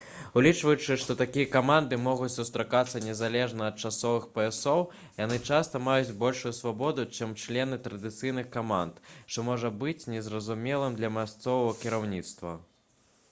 улічваючы што такія каманды могуць сустракацца незалежна ад часовых паясоў яны часта маюць большую свабоду чым члены традыцыйных каманд што можа быць не зразумелым для мясцовага кіраўніцтва